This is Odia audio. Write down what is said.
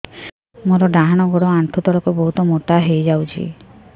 ମୋର ଡାହାଣ ଗୋଡ଼ ଆଣ୍ଠୁ ତଳକୁ ବହୁତ ମୋଟା ହେଇଯାଉଛି